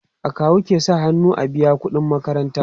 akawu ke sa hannu an biya ƙuɗin makaranta